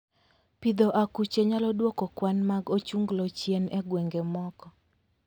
Pidho akuche nyalo dwoko kwan mag ochunglo chien e gwenge moko